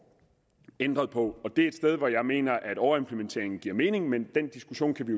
ændret på det er et sted hvor jeg mener at overimplementering giver mening men den diskussion kan vi